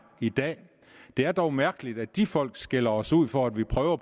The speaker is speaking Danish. i dag det er dog mærkeligt at de folk skælder os ud for at vi prøver